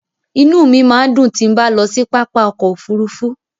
Inú mi máa ń dùn tí bá ń lọ sí pápá ọkọ̀ Òfurufú.